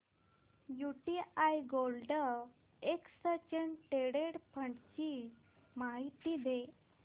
UTI gold exchange traded fund ची माहिती दे